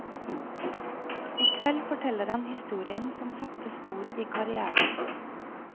I kveld forteller han historien som satte spor i karrièren.